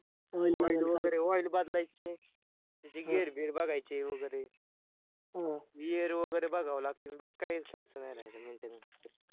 Volt वैगरे volts बदलायचे त्याचे gear बियर बघायचे वैगरे gear वैगरे बघावे लागतील बाकी काय खर्च नाय राहिला maintenance चा